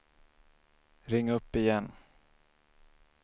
ring upp igen